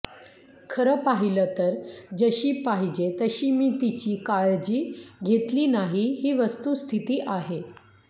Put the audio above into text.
खरं पाहिलं तर जशी पाहिजे तशी मी तिची काळजी घेतली नाही ही वस्तुस्थिती आहे